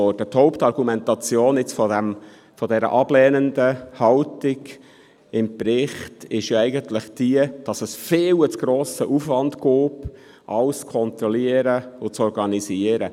Die Hauptargumentation für die ablehnende Haltung im Bericht ist jene, dass es zu einem viel zu hohen Aufwand käme, um alles zu kontrollieren und zu organisieren.